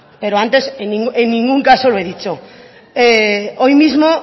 pero antes en ningún caso lo he dicho hoy mismo